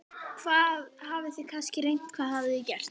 Hvað, þið hafið kannski reynt, hvað hafið þið gert?